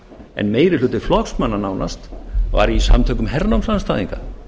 en meiri hluti flokksmanna nánast var í samtökum hernámsandstæðinga